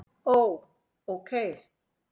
Ó. ókei